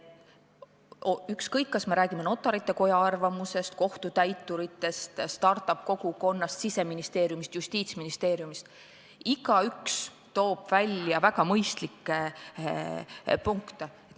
Ükskõik, kas me räägime Notarite Koja arvamusest, kohtutäituritest, start-up-kogukonnast, Siseministeeriumist, Justiitsministeeriumist – igaüks toob välja väga mõistlikke punkte.